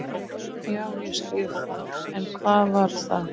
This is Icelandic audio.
Já, ég skil það, en hvar var það?